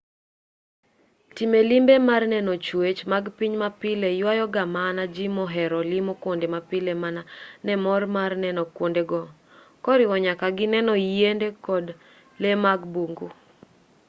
timo limbe mar neno chwech mag piny mapile ywayo ga mana ji mohero limo kwonde mapile mana ne mor mar neno kwondego koriwo nyaka gi neno yiende kod lee mag bungu